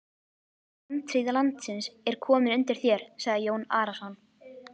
Framtíð landsins er komin undir þér, sagði Jón Arason.